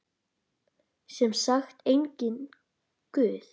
Sem sagt, enginn guð.